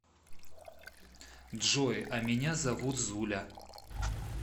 джой а меня зовут зуля